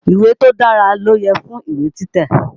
Ìwé tó dára ló yẹ fún ìwé títẹ̀.